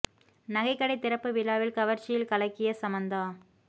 நகை கடை திறப்பு விழாவில் கவர்ச்சியில் கலக்கிய சமந்தா